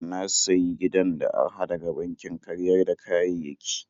Na sayi gidan da araha daga bankin karyar da kayayyaki.